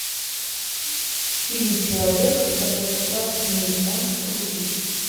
фильм человек который спас мир можешь включить